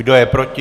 Kdo je proti?